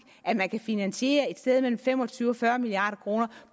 at man kan finansiere et sted mellem fem og tyve og fyrre milliard kroner